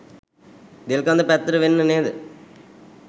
දෙල්කඳ පැත්තට වෙන්න නේද?